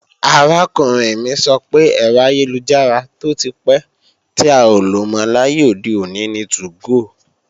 Arákùnrin mi sọ pé, ẹ̀rọ ayélujára tó ti pẹ́ tí a ò lò mọ́ láyé òde òní ni 2go